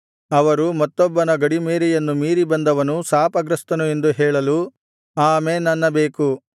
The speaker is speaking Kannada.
ಅವರು ಮತ್ತೊಬ್ಬನ ಗಡಿಮೇರೆಯನ್ನು ಮೀರಿಬಂದವನು ಶಾಪಗ್ರಸ್ತನು ಎಂದು ಹೇಳಲು ಆಮೆನ್ ಅನ್ನಬೇಕು